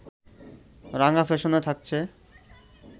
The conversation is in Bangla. রাঙা ফ্যাশনে থাকছে